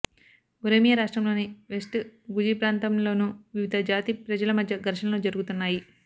Oromia రాష్ట్రంలోని west గుజిప్రాంతంలోను వివిధజాతి ప్రజల మధ్య ఘర్షణలు జరుగుతున్నాయి